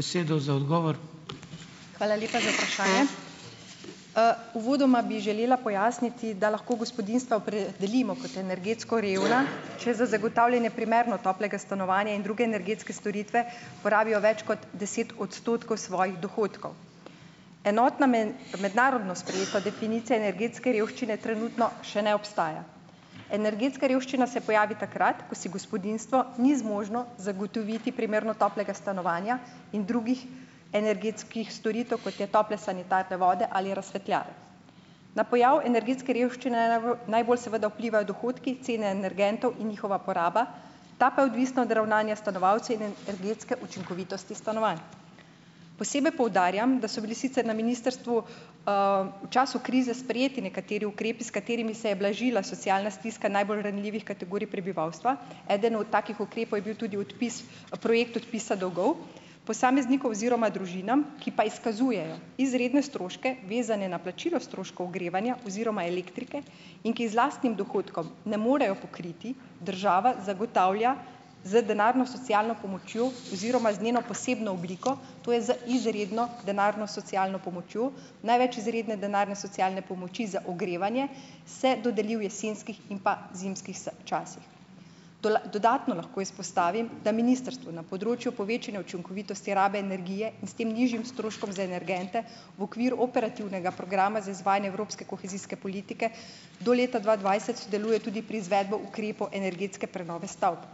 Hvala lepa za vprašanje. Uvodoma bi želela pojasniti, da lahko gospodinjstva opredelimo kot energetsko revna, če za zagotavljanje primerno toplega stanovanja in druge energetske storitve porabijo več kot deset odstotkov svojih dohodkov. Enotna mednarodno sprejeta definicija energetske revščine trenutno še ne obstaja. Energetska revščina se pojavi takrat, ko si gospodinjstvo ni zmožno zagotoviti primerno toplega stanovanja in drugih energetskih storitev, kot je tople sanitarne vode ali razsvetljave. Na pojav energetske revščine najbolj seveda vplivajo dohodki, cene energentov in njihova poraba, ta pa je odvisna od ravnanja stanovalcev in energetske učinkovitosti stanovanj. Posebej poudarjam, da so bili sicer na ministrstvu, v času krize sprejeti nekateri ukrepi, s katerimi se je blažila socialna stiska najbolj ranljivih kategorij prebivalstva. Eden od takih ukrepov je bil tudi odpis, projekt odpisa dolgov posameznikov oziroma družinam, ki pa izkazujejo izredne stroške, vezane na plačilo stroškov ogrevanja oziroma elektrike, in ki z lastnim dohodkom ne morejo pokriti, država zagotavlja z denarno socialno pomočjo oziroma z njeno posebno obliko, to je z izredno denarno socialno pomočjo, največ izredne denarne socialne pomoči za ogrevanje se dodeli v jesenskih in pa zimskih časih. dodatno lahko izpostavim, da ministrstvo na področju povečanja učinkovitosti rabe energije in s tem nižjim stroškom za energente v okviru operativnega programa za izvajanje evropske kohezijske politike do leta dva dvajset sodeluje tudi pri izvedbi ukrepov energetske prenove stavb.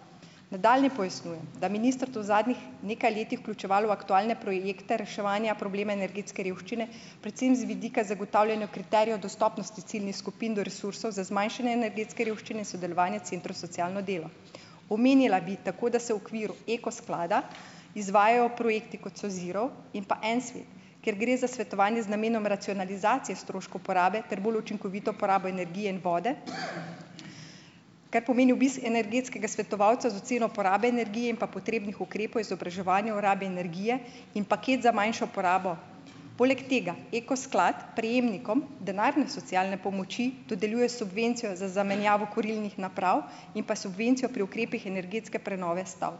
Nadaljnje pojasnjujem, da je ministrstev v zadnjih nekaj letih vključevalo v aktualne projekte reševanja problema energetske revščine predvsem z vidika zagotavljanja kriterijev dostopnosti ciljnih skupin do resursov za zmanjšanje energetske revščine in sodelovanje centrov za socialno delo. Omenila bi tako, da se v okviru Eko sklada izvajajo projekti, kot so Zero in pa En svet, kjer gre za svetovanje z namenom racionalizacije stroškov uporabe ter bolj učinkovito uporabo energije in vode, kar pomeni obisk energetskega svetovalca z oceno porabe energije in pa potrebnih ukrepov, izobraževanja o rabi energije in paket za manjšo uporabo. Poleg tega Eko sklad prejemnikom denarne socialne pomoči dodeljuje subvencijo za zamenjavo kurilnih naprav in pa subvencijo pri ukrepih energetske prenove stavb.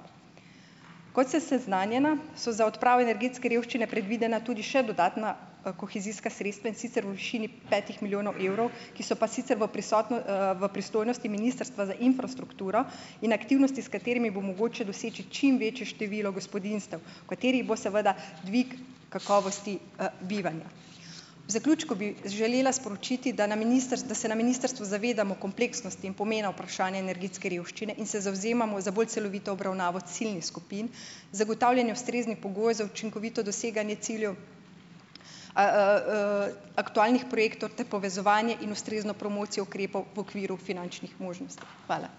Kot sem seznanjena, so za odpravo energetske revščine predvidena tudi še dodatna, kohezijska sredstva, in sicer v višini petih milijonov evrov, ki so pa sicer v v pristojnosti Ministrstva za infrastrukturo in aktivnosti, s katerimi bo mogoče doseči čim večje število gospodinjstev, v katerih bo seveda dvig kakovosti, bivanja. V zaključku bi želela sporočiti, da na da se na ministrstvu zavedamo kompleksnosti in pomena vprašanja energetske revščine in se zavzemamo za bolj celovito obravnavo ciljnih skupin, zagotavljanje ustreznih pogojev za učinkovito doseganje ciljev a, aktualnih projektov ter povezovanje in ustrezno promocijo ukrepov v okviru finančnih možnosti. Hvala.